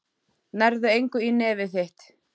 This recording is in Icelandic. Nærðu engu í nefið þitt.